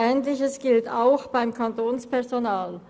Ähnliches gilt auch für das Kantonspersonal.